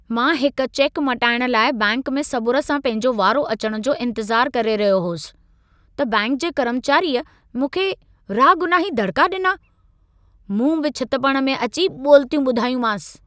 मां हिक चेक मटाइण लाइ बैंक में सबुर सां पंहिंजो वारो अचण जो इंतज़ार करे रहियो होसि, त बैंक जे कर्मचारीअ मूंखे रागुनाही दड़िका ॾिना। मूं बि छितपण में अची ॿोलितियूं ॿुधायूंमांसि।